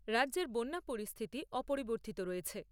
রাজ্যের বন্যা পরিস্থিতি অপরিবর্তিত রয়েছে।